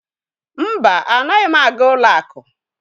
Mba, anaghị m aga ụlọ akụ.